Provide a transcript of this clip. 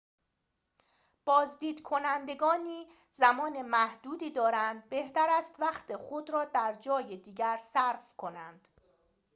بازدید کنندگانی زمان محدودی دارند بهتر است وقت خود را در جای دیگری صرف کنند